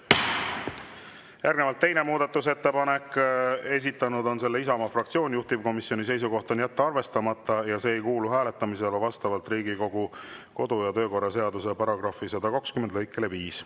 Järgnevalt teine muudatusettepanek, esitanud on selle Isamaa fraktsioon, juhtivkomisjoni seisukoht on jätta arvestamata ja see ei kuulu hääletamisele vastavalt Riigikogu kodu‑ ja töökorra seaduse § 120 lõikele 5.